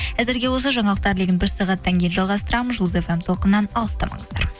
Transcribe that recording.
әзірге осы жаңалықтар легін бір сағаттан кейін жалғастырамын жұлдыз фм толқынынан алыстамаңыздар